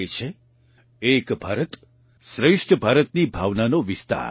તે છે એક ભારત શ્રેષ્ઠ ભારતની ભાવનાનો વિસ્તાર